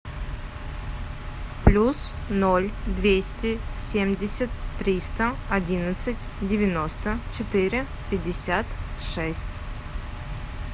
плюс ноль двести семьдесят триста одиннадцать девяносто четыре пятьдесят шесть